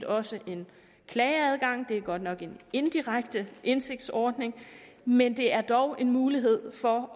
også en klageadgang det er godt nok en indirekte indsigtsordning men det er dog en mulighed for